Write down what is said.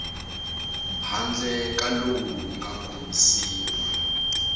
handle ka lowu nga kombisiwa